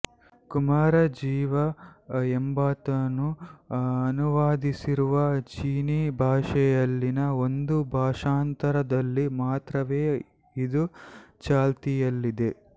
ಕುಮಾರಜೀವ ಎಂಬಾತನು ಅನುವಾದಿಸಿರುವ ಚೀನೀ ಭಾಷೆಯಲ್ಲಿನ ಒಂದು ಭಾಷಾಂತರದಲ್ಲಿ ಮಾತ್ರವೇ ಇದು ಚಾಲ್ತಿಯಲ್ಲಿದೆ